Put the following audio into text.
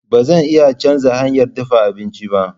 Ba zan iya canza hanyar dafa abinci ba.